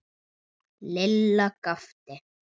Lilla gapti.